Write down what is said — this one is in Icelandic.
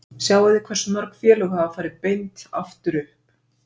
Sjáið hversu mörg félög hafa farið beint aftur upp?